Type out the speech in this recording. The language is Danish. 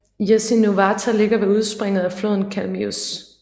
Jasynuvata ligger ved udspringet af floden Kalmius